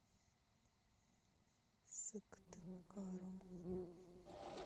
сыктывкаром